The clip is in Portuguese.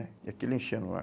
E aquilo enchendo lá.